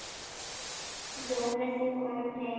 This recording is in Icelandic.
Jón er því kominn heim.